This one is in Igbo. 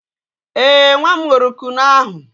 Ee, nwa m ṅụrụ Kunu ahụ.